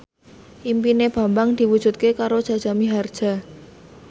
impine Bambang diwujudke karo Jaja Mihardja